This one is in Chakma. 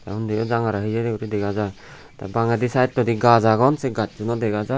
te undi yo jangare heye guri dega jai te bangendi sidetodi gach agon se gachun no dega jai.